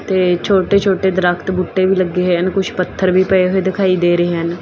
ਤੇ ਛੋਟੇ ਛੋਟੇ ਦਰਖਤ ਬੂਟੇ ਵੀ ਲੱਗੇ ਹੈ ਕੁਛ ਪੱਥਰ ਵੀ ਪਏ ਹੋਏ ਦਿਖਾਈ ਦੇ ਰਹੇ ਹਨ।